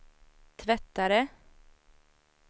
tvättare